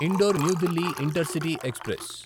indoor New Delhi intercity express